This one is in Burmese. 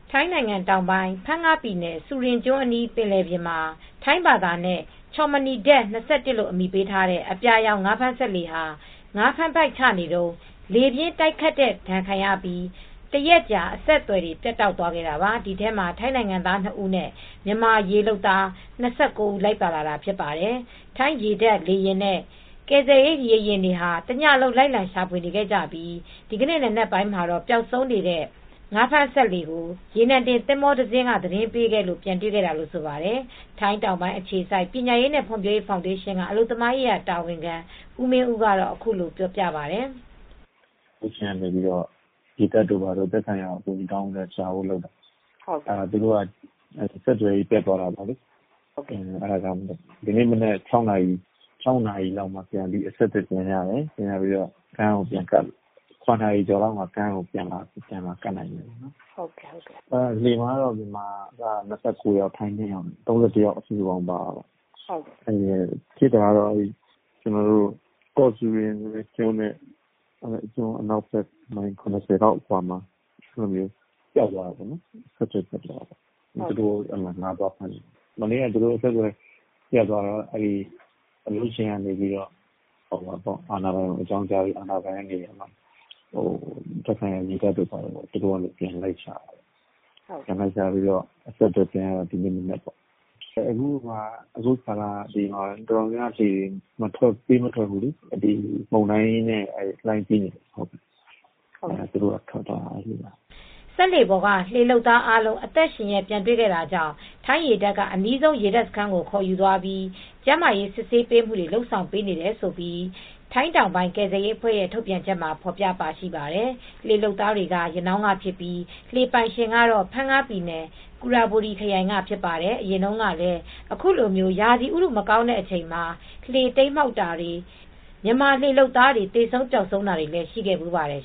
ထိုင်းနိုင်င်ငံတောင်ပိုင်းဖန်းငပြည်နယ်ဆူရင်ကျွန်း အနီးပင်လယ်ပြင်မှာ ထိုင်းဘာသာနဲ့- ချော့မနီဒက် ၂၁ လို့ အမည်ပေးထားတဲ့အပြာရောင် ငါးဖမ်းစက်လှေဟာ ငါးဖမ်းပိုက်ချနေတုန်း လေပြင်းတိုက်ခတ်တဲ့ဒဏ်ခံရပြီး တရက်ကြာအဆက်သွယ်တွေပြတ်တောက်သွားခဲ့တာပါ။ ဒီထဲမှာ ထိုင်းနိုင်ငံသား၂ဦးနဲ့မြန်မာရေလုပ်သား၂၉ဦး လိုက်ပါလာတာဖြစ်ပါတယ်။ ထိုင်းရေတပ် လေယာဉ်နဲ့ ကယ်ဆယ်ရေး ရေယာဉ်တွေဟာ တညလုံး လိုက်လံရှာဖွေခဲ့ကြပြီး ဒီကနေ့နံနက်ပိုင်းမှာတော့ ပျောက်ဆုံးနေတဲ့ ငါးဖမ်းစက်လှေကို ရေနံတင်သင်္ဘောတစ်စင်းက သတင်းပေးခဲ့လို့ ပြန်တွေခဲ့တာလို့ ဆိုပါတယ်။ ထိုင်းတောင်ပိုင်းအခြေစိုက်ပညာရေးနဲ့ဖွံဖြိုးရေးဖောင်ဒေးရှင်းကအလုပ်သမားရေးတာဝန်ခံဦးမင်းဦးကတော့အခုလိုပြောပါတယ်။ " အလုပ်ရှင်က ရေတပ်နဲ့သက်ဆိုင်ရာကို အကူညီတောင်းပြီးရှာတာ သူတို့ကအဆက်သွယ်ပြတ်သွားတာ ဒီနေ့မနက်၆နာရီကျော်လောက်မှာအဆက်သွယ်ပြန်ရတယ်။ လှေကတော့ရနာရီလောက်မှာကမ်းပြန်ကပ်နိုင်တယ်။လှေမှာမြန်မာ ၂၉ယောက် ထိုင်း၂ ယောက် ၃၁ ယောက်ပါတယ်။ ကော့စူရင်ကျွန်းအနောက်ဘက် မိုင် ၇၀ လောက်အကွာအဆက်ပြတ်သွားတာ ။ ငါးသွားဖမ်းတာ မနေ့က အဆက်သွယ်ပြတ်သွားတော့ အလုပ်ရှင်ကအာဏာပိုင်ကိုအကြောင်းကြားပြီး သက်ဆိုင်ရာရေတပ်က ပြန်လိုက်ရှာတာ အဆက်သွယ်ပြန်ရတာ။ ဒီနေ့မနက်ပေါ့ အခုကာလက တော်တော်များများလှေတွေပေးမထွက်ဘူးလေ မုန်တိုင်းနဲ့လှိုင်းကြီးနေလို့လေ။ သူတို့ကထွက်သွားတာ။" စက်လှေပေါ်က လှေလုပ်သားအားလုံးအသက်ရှင်လျက်ပြန်တွေခဲ့တာကြောင့်ထိုင်းရေတပ်ကအနီးဆုံးရေတပ်စခန်းကိုခေါ်ယူသွာပြီး ကျန်းမာရေးစစ်ဆေးပေးမူတွေလုပ်ဆောင်နေပေးနေတယ်လို့ ထိုင်းတောင်ပိုင်းကယ်ဆယ်ရေးအဖွဲ့ရဲ့ုထုတ်ပြန်ချက်မှာဖော်ပြပါရှိပါတယ် လှေလုပ်သားတွေက ရနောင်းကဖြစ်ပြီး လှေပိုင်ရှင်ကဖန်ငပြည်နယ် ကူရဘူရီခရိုင်ကဖြစ်ပါတယ်။အရင်တုန်းကလည်း အခုလိုမျိုးရာသီဥတုမကောင်းတဲ့အချိန်မှာ လှေတိမ်းမှောက်တာတွေ မြန်မာလှေလုပ်သမားတွေ သေဆုံး ပျောက်ဆုံးတာတွေရှိခဲ့ဘူးပါတယ်